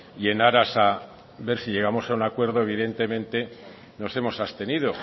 y en aras a ver si llegamos a un acuerdo evidentemente nos hemos abstenido